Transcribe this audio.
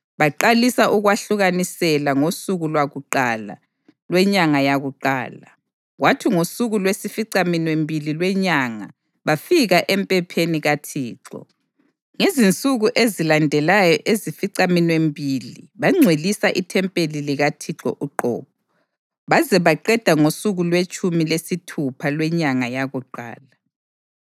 Baqalisa ukwahlukanisela ngosuku lwakuqala lwenyanga yakuqala, kwathi ngosuku lwesificaminwembili lwenyanga bafika emphempeni kaThixo. Ngezinsuku ezilandelayo ezificaminwembili bangcwelisa ithempeli likaThixo uqobo, baze baqeda ngosuku lwetshumi lesithupha lwenyanga yakuqala.